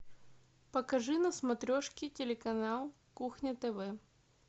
покажи на смотрешке телеканал кухня тв